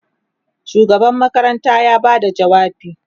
shugaban makaranta ya Bada jawabi